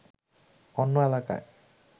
অন্য এলাকায়